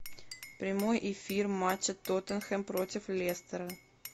прямой эфир матча тоттенхэм против лестера